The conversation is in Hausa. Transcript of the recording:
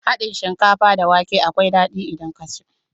Hadin shinkafa da wake akwai dadi idan ka ci.